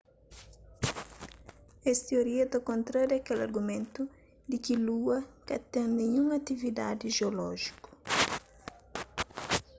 es tioria ta kontraria kel argumentu di ki lua ka ten ninhun atividadi jeolójiku